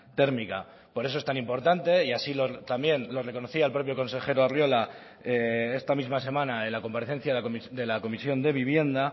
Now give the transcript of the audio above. térmica por eso es tan importante y así también lo reconocía el propio consejero arriola esta misma semana en la comparecencia de la comisión de vivienda